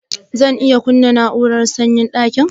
Zan iya kunna na'urar sanyaya dakin?